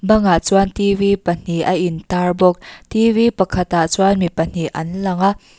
bangah chuan t v pahnih a in tar bawk t v pakhat ah chuan mi pahnih an lang a--